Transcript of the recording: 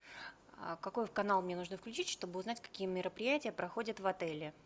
какой канал мне нужно включить чтобы узнать какие мероприятия проходят в отеле